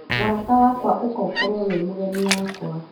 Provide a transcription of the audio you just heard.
Mũrata wakwa ũka ũkorwo wĩmũgeni wakwa